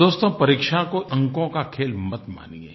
दोस्तो परीक्षा को अंकों का खेल मत मानिये